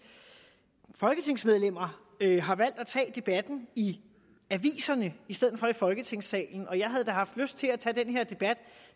folketingsmedlemmer har valgt at tage debatten i aviserne i stedet for i folketingssalen jeg havde da haft lyst til at tage den her debat